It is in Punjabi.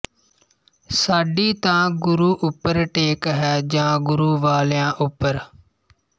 ਸਾਡੀ ਤਾਂ ਗੁਰੂ ਉਪਰ ਟੇਕ ਹੈ ਜਾਂ ਗੁਰੂ ਵਾਲਿਆਂ ਉਪਰ